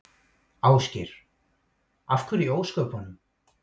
Ásgeir: Af hverju í ósköpunum?